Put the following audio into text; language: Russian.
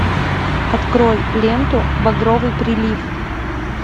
открой ленту багровый прилив